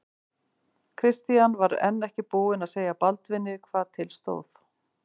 Christian var enn ekki búinn að segja Baldvini hvað til stóð.